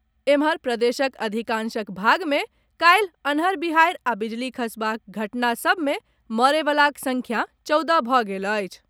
एम्हर, प्रदेशक अधिकांशक भाग मे काल्हि अन्हर बिहाड़ि आ बिजली खसबाक घटना सबमे मरय वलाक संख्या चौदह भऽ गेल अछि।